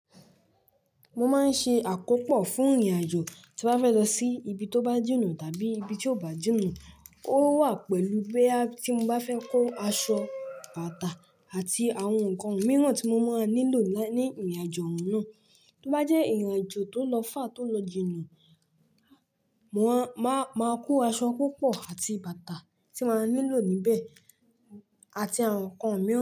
Mo máa ń ṣe àkópò fún ìrìn-àjò tí mo bá fẹ́ lọ sí ibi tó bá jìnà tàbí ibi tí ò bá jìnà. Ó wà pẹ̀lú boya tí mo bá fẹ́ kó aṣọ, bàtà àti àwọn nǹkan mìíràn tí mo máa nílò láì ní ìrìn-àjò náà. Tó bá jẹ́ ìrìn-àjò tó lọ fàr tó lọ jìnà, màá kó aṣọ púpọ̀ àti bàtà tí màá nílò níbẹ̀ àti àwọn nǹkan mìíràn.